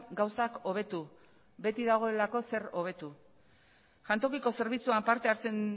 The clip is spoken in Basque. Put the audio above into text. gauzak hobetu beti dagoelako zer hobetu jantokiko zerbitzuan parte hartzen